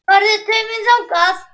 Álitið: Hver vekur mesta athygli?